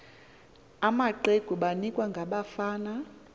amaqegu banikwa nabafana